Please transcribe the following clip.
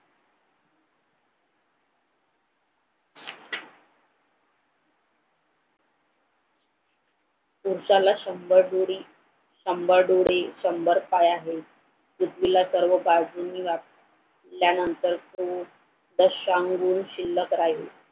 पुरुषाला शंभर डोळे शंभर पाय आहेत. पृथ्वीला सर्व बाजूनी व्यापल्यानंतर शिल्लक राहिली